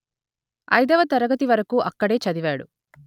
ఐదవ తరగతి వరకు అక్కడే చదివాడు